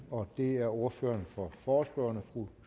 og det er ordføreren for forespørgerne fru